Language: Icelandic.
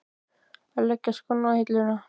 Á að leggja skónna á hilluna?